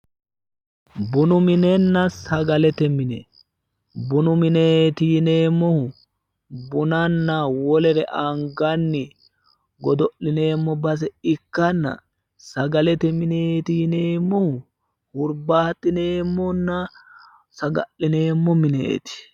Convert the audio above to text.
bunu minenna sagalete mine bunu mineeti yineemmohu bunanna wolere anganni godo'lineemmo base ikkanna sagalete mineeti yineemmohu hurbaaxineemmonna saga; lineemmo mineeti.